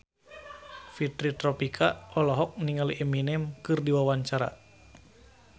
Fitri Tropika olohok ningali Eminem keur diwawancara